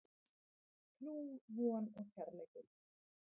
Trú, von og kærleikur.